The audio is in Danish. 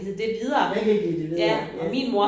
Man kan give det videre ja